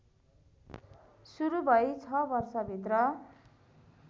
सुरु भई छ वर्षभित्र